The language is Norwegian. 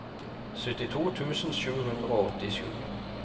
syttito tusen sju hundre og åttisju